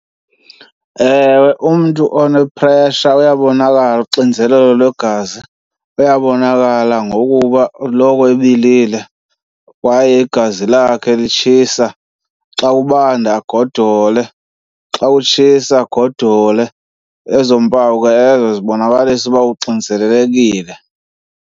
Ewe, umntu one-pressure uyabonakala, uxinzelelo lwegazi. Uyabonakala ngokuba loko ebilile kwaye igazi lakho yakhe litshisa, xa kubanda agodole, xa kutshisa agodole. Ezo mpawu ke ezo zibonakalisa uba uxinzelekile.